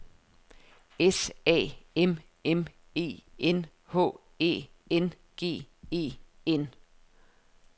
S A M M E N H Æ N G E N